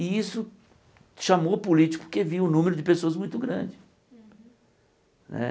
E isso chamou o político porque viu o número de pessoas muito grande né.